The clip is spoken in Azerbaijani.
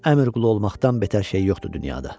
Əmr qulu olmaqdan betər şey yoxdur dünyada.